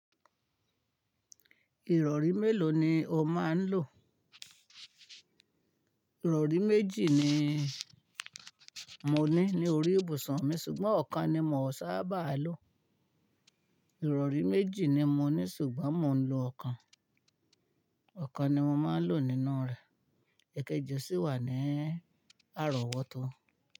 Ìrọ̀rí mélòó ni o máa ń lò? Ìrọ̀rí méjì ni mo ní ní orí ìbùsùn mi, ṣùgbọ́n ọ̀kan ni mò ń sábà lò. Ìrọ̀rí méjì ni mo ní ṣùgbọ́n mò ń lo ọ̀kan, ọ̀kan ni mo máa ń lò nínú rẹ̀. Ẹ̀kẹ jẹ́sí wà ní àrọ̀wọ́tó.